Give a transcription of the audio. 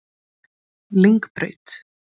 Lyngbraut